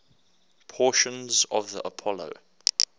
portions of the apollo